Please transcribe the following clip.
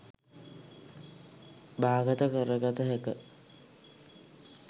බාගත කරගත හැක.